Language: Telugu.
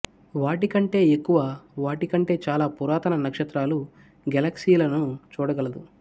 వాటి కంటే ఎక్కువ వాటి కంటే చాలా పురాతన నక్షత్రాలు గెలాక్సీలను చూడగలదు